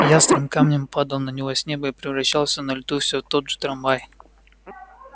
ястреб камнем падал на него с неба и превращался на лету всё в тот же трамвай